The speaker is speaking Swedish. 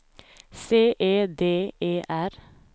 C E D E R